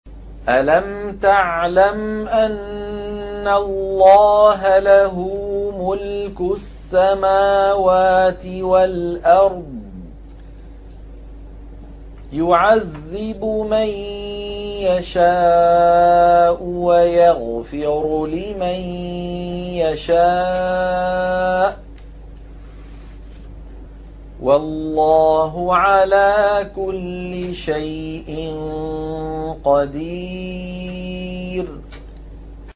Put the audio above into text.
أَلَمْ تَعْلَمْ أَنَّ اللَّهَ لَهُ مُلْكُ السَّمَاوَاتِ وَالْأَرْضِ يُعَذِّبُ مَن يَشَاءُ وَيَغْفِرُ لِمَن يَشَاءُ ۗ وَاللَّهُ عَلَىٰ كُلِّ شَيْءٍ قَدِيرٌ